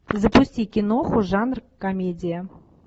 запусти киноху жанр комедия